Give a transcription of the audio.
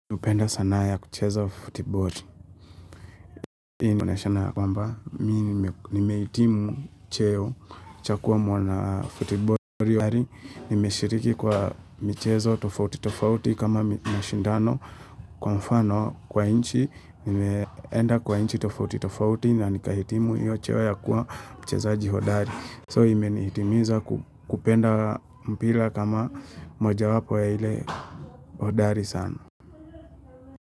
Hupenda sanaa ya kucheza futiboli Hii inaonyeshana ya kwamba, mi nimehitimu cheo cha kuwa mwanafutiboli Bali, nimeshiriki kwa michezo tofauti tofauti kama mashindano. Kwa mfano, kwa nchi, nimeenda kwa nchi tofauti tofauti na nikahitimu hiyo cheo ya kuwa mchezaji hodari. So, imenihitimiza kupenda mpira kama moja wapo ya ile hodari sana.